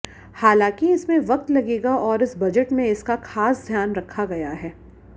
हालांकि इसमें वक्त लगेगा और इस बजट में इसका खास ध्यान रखा गया है